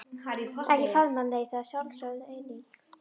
Ekki faðmlag nei, það er sjálfsögð eining.